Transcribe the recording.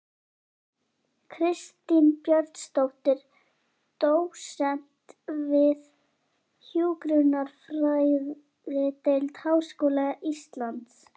Kristín Björnsdóttir, dósent við hjúkrunarfræðideild Háskóla Íslands